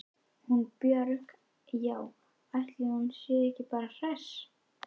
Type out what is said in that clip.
Hún Björg- já, ætli hún sé ekki bara hress.